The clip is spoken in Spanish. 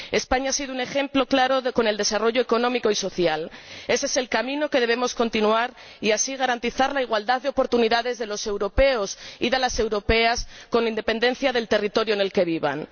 España ha sido un ejemplo claro, con el desarrollo económico y social que ha experimentado. Ése es el camino que debemos continuar y, así, garantizar la igualdad de oportunidades de los europeos y de las europeas, con independencia del territorio en el que vivan.